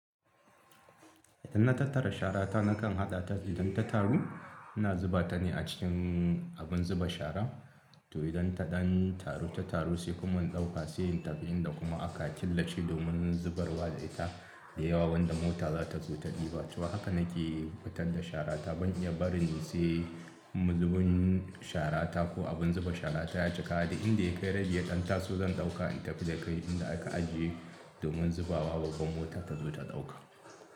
Idan na tattara shara ta nakan haɗa ta idan ta taru, ina zuba ta ne a cikin abin zuba shara. To idan ta ɗan taru ta taru sai kuma in ɗauka, sai in tafi inda kuma aka killace domin zubarwa da ita da yawa wanda mota za ta zo ta ɗiba. To haka nake fitar da shara ta. Ban iya barin sai mu zubin shara ta ko abin zuba shara ta ya cika da inda ya kai radiya ɗan taso zan ɗauka in tafi da kai inda aka ajiye domin zubawa babban mota ta zo ta ɗauka.